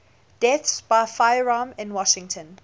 deaths by firearm in washington